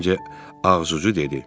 Terincə ağızucu dedi.